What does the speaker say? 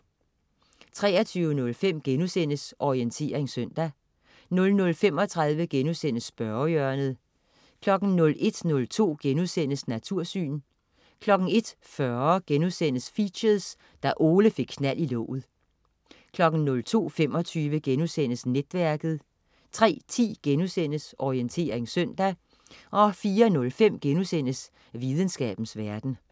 23.05 Orientering søndag* 00.35 Spørgehjørnet* 01.02 Natursyn* 01.40 Features: Da Ole fik knald i låget* 02.25 Netværket* 03.10 Orientering søndag* 04.05 Videnskabens verden*